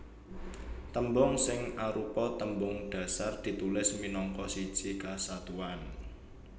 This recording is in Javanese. Tembung sing arupa tembung dhasar ditulis minangka siji kesatuan